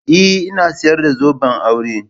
Eh ina sayar da zoben aure.